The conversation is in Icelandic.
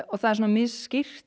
og það er svona